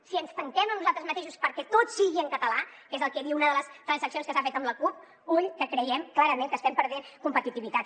si ens tanquem en nosaltres mateixos perquè tot sigui en català que és el que diu una de les transaccions que s’ha fet amb la cup ull que creiem clarament que estem perdent competitivitat